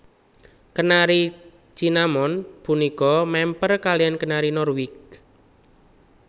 Kenari Cinnamon punika mèmper kaliyan Kenari Norwich